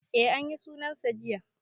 E anyi sunan sa jiya